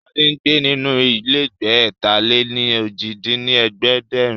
Sade ń gbé nínú ilégbèé ẹ̀ta-lé-ní-ojì dín ní ẹ̀ẹ́dẹ́gbẹ́rún